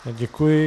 Děkuji.